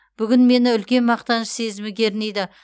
бүгін мені үлкен мақтаныш сезімі кернейді